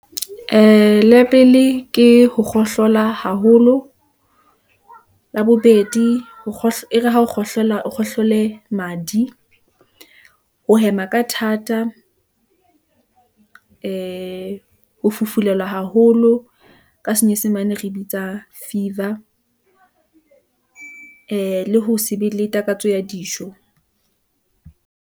Ee, la pele ke ho kgohlola haholo , labobedi, e re ha o kgohlela, o khohlele madi , o hema ka thata , ee ho fufulelwa haholo , ka senyesemane re bitsa fever , ee le ho se be le takatso ya dijo.